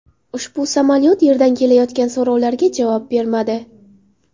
Ushbu samolyot yerdan kelayotgan so‘rovlarga javob bermadi.